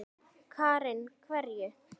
Karen: Hverju?